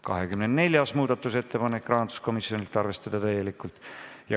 24. muudatusettepanek, rahanduskomisjonilt, arvestada täielikult.